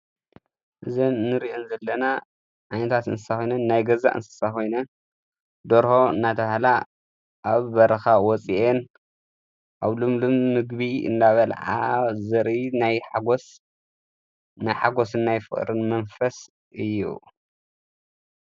እዘ ንርእየን ዘለና ዓይነታት እንስሳ ኾይንን ናይ ገዛ እንስሳ ኾይንን ደርሆ ናተብሃላ ኣብ በረኻ ወፂአን ኣብ ሉምሉም ምግቢ እናበልዓ ዘርኢ ናይ ሓጐስ ናይ ሓጐስን ናይ ፍቕርን መንፈስ እዩ።